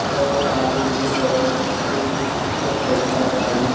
और आगे की तरफ एक चार पहिया गाड़ी--